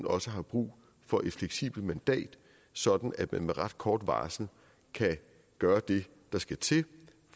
også brug for et fleksibelt mandat sådan at man med ret kort varsel kan gøre det der skal til